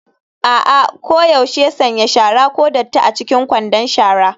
A'a, koyaushe sanya shara (ko datti) a cikin kwandon shara.